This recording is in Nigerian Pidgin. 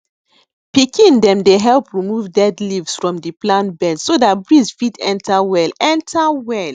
pikin dem dey help remove dead leaves from di plant beds so dat breeze fit enter well enter well